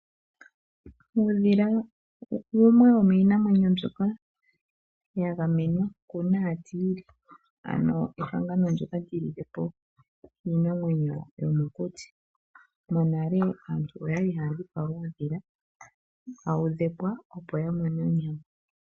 Uudhila wumwe womiinamwenyo mbyoka yagamenwa kunaatiili, ano ehangano ndyoka lyilile po iinamwenyo mbyoka yomokuti. Monale aantu oyali haya dhipaga uudhila tawu dhepwa opo yamone onyama.